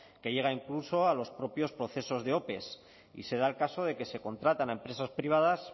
que llega incluso a los propios procesos de ope y se da el caso de que se contratan a empresas privadas